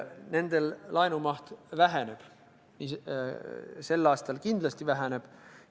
Nendel laenumaht väheneb, sel aastal kindlasti väheneb.